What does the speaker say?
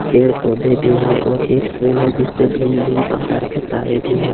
पेड़ पौधे भी हैं और एक पोल है जिसपे भिन्न भिन्न प्रकार का तारे भी हैं।